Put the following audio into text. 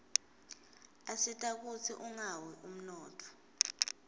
asita kutsi ungawi umnotfo